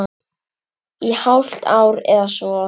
Í hálft ár eða svo.